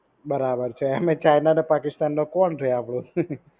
બરાબર છે આમેય ચાઈના અને પાકિસ્તાન માં કોણ રેય આપડું.